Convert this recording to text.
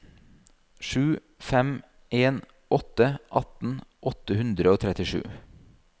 sju fem en åtte atten åtte hundre og trettisju